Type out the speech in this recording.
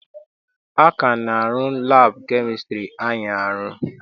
A ka na-arụ laabụ kemịstri anyị arụ.